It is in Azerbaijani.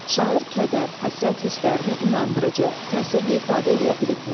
Şair kədər, həsrət hisslərini inandırıcı, təsirli ifadə eləyə bilibmi?